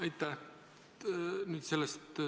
Aitäh!